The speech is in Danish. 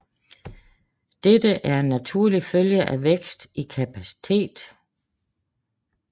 Dette er en naturlig følge af vækst i kapacitet